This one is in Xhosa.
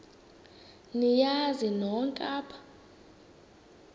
niyazi nonk apha